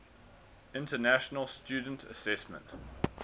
international student assessment